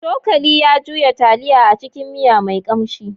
Cokali ya juya taliya a cikin miya mai kamshi.